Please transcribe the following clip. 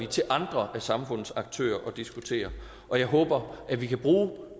til andre af samfundets aktører at diskutere og jeg håber at vi kan bruge